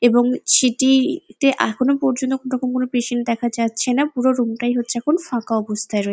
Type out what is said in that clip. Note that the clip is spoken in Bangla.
এবং সেটি তে এখনো পযর্ন্ত কোনো রকম কোনো পেশেন্ট দেখা যাচ্ছে না পুরো রুমটাই ফাঁকা অবস্থায় আছে।